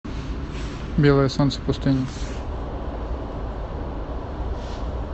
белое солнце пустыни